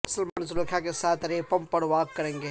سلمان زلیخا کے ساتھ ریمپ پر واک کریں گے